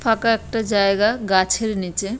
ফাঁকা একটা জায়গা গাছের নিচে।